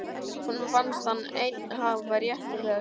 Honum fannst hann einn hafa rétt til þess.